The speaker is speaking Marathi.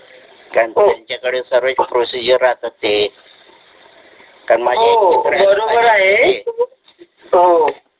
त्यांच्याकडे सर्व प्रोसिजर राहतात ते हो बरोबर आहे